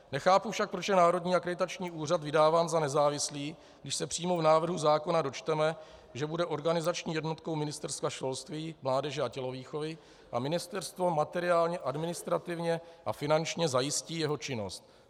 Nechápu však, proč je Národní akreditační úřad vydáván za nezávislý, když se přímo v návrhu zákona dočteme, že bude organizační jednotkou Ministerstva školství, mládeže a tělovýchovy a ministerstvo materiálně, administrativně a finančně zajistí jeho činnost.